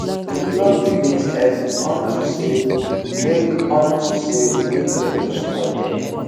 we pluck the beans early unto say make unto say make rain no spoil dem